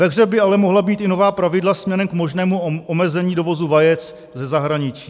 Ve hře by ale mohla být i nová pravidla směrem k možnému omezení dovozu vajec ze zahraničí.